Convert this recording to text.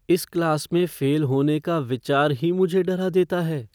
इस क्लास में फ़ेल होने का विचार ही मुझे डरा देता है।